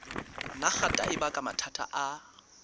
nagata e baka mathata a